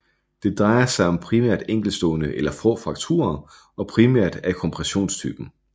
Det drejer sig om primært enkeltstående eller få frakturer og primært af kompressionstypen